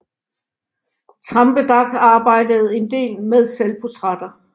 Trampedach arbejdede en del med selvportrætter